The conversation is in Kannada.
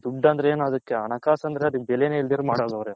ದುಡ್ಡ್ ಅಂದ್ರೇನು ಅದಕ್ಕ್ ಹಣಕಾಸ್ ಅದಕ್ಕ್ ಬೆಲೆನೆ ಇಲ್ದಿರ ಮಾಡಂಗ್ ಅವ್ರೆ